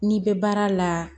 N'i bɛ baara la